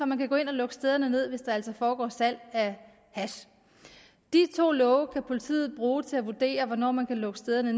man kan gå ind og lukke stederne ned hvis der altså foregår salg af hash de to love kan politiet bruge til at vurdere hvornår man kan lukke stederne